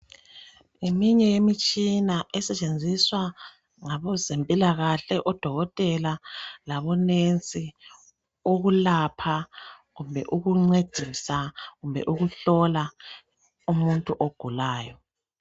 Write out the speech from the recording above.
Ngeminye imitshina esetshenziswa ngabezempilakahle odokotela labo nesi ukulapha kumbe ukuncedisa kumbe ukuhlola umuntu ogulayo.